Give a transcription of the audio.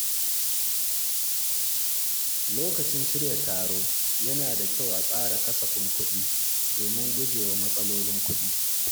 Lokacin shirya taro, yana da kyau a tsara kasafin kuɗi domin gujewa matsalolin kuɗi.